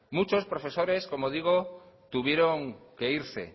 muchos profesores como digo tuvieron que irse